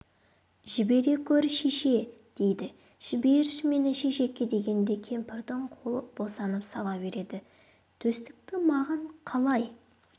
жібере көр шешеке дейді жіберші мені шешеке дегенде кемпірдің қолы босанып сала береді төстікті маған қалай